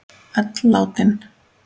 Öll látin.